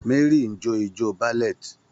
Mary ń jó ijó ballet.